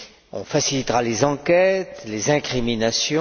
On facilitera les enquêtes, les incriminations